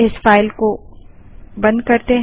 इस फाइल को बंद करें